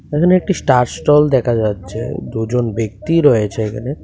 এখানে একটি star stall দেখা যাচ্ছে দুজন ব্যক্তি রয়েছে এখানে।